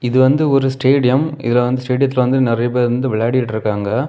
இது வந்து ஒரு ஸ்டேடியம் இதுல வந்து ஸ்டேடியத்தில வந்து நிறைய பேர் விளையாடிட்ருக்காங்க.